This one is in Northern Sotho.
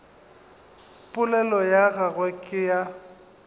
polelo ya gagwe ke ya